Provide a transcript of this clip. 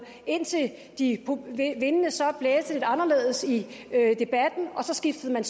indtil vindene så blæste lidt anderledes i debatten så skiftede man